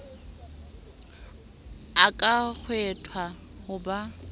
o ka kgethwa ho ba